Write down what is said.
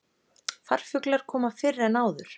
Farfuglar koma fyrr en áður